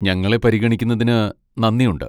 ഞങ്ങളെ പരിഗണിക്കുന്നതിന് നന്ദിയുണ്ട്.